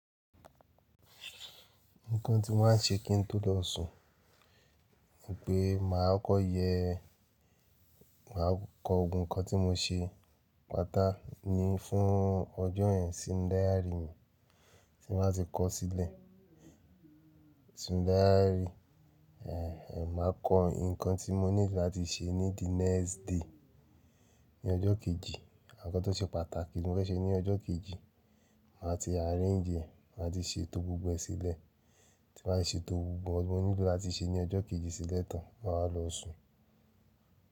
Nǹkan tí mo má n ṣe kí n tó lọ sùn, ni pé màá kọkọ yẹ, màá kọ gbogbo nǹkan tí mo ṣe pàtá ni fún ọjọ́ yẹn sí nu dáyárì mi tí n baa ti kọ sílẹ̀. Sí dáyárì, máa kọ́ nǹkan tí mo nílò láti ṣe ní the next day, ní ọjọ́ kejì. Àwọn nkan tó ṣe pàtàkì ti mo fẹ́ ṣe ní ọjọ́ kejì, màá ti arrange, màá ti ṣe tó gbogbo ẹ sílẹ̀. Tí mo baá ti ṣe tó gbogbo, àwọn ohun tí mo nílò láti ṣe ní ọjọ́ kejì sílẹ̀ tán, màá wa lọ sùn.